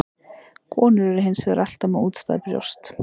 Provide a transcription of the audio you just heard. Konur eru hins vegar alltaf með útstæð brjóst.